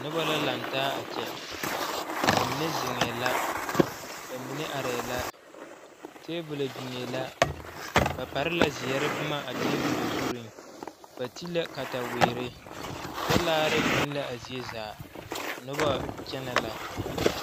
Noba la laŋ taa a kyɛ ba mine zeŋɛɛ la ba mine arɛɛ la tebol biŋɛɛ la ba pare la zeɛre boma a tebole zuŋ ba te la kataweere talaare biŋ la a zie zaa noba kyɛnɛ la.